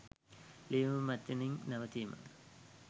ලිවීම මෙතනින් නවතිමි.